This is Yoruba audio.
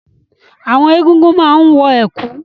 Àwọn Egúngún máa ń wọ ẹ̀kú.